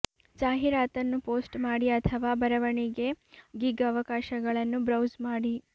ಜಾಹೀರಾತನ್ನು ಪೋಸ್ಟ್ ಮಾಡಿ ಅಥವಾ ಬರವಣಿಗೆ ಗಿಗ್ ಅವಕಾಶಗಳನ್ನು ಬ್ರೌಸ್ ಮಾಡಿ